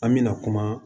An mɛna kuma